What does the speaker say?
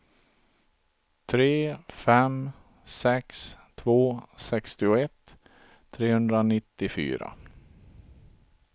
tre fem sex två sextioett trehundranittiofyra